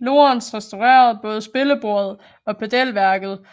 Lorentz restaurerede både spillebordet og pedalværket